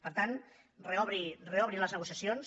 per tant reobri les negociacions